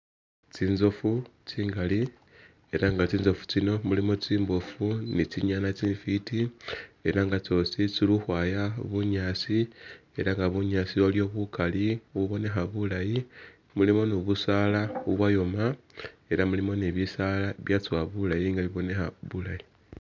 Tsinzofu tsingali ela nga tsinzofu tsino mulimo tsimbofu ni tsinyana tsi fiti ela nga tsosi tsili ukhwaya bunyaasi ela nga bunyaasi waliwo bukali bubonekha bulayi, mulimo ni busaala bubwoyoma ela mulimo ni bisaala bibya tsowa bulayi nga bibonekha bulayi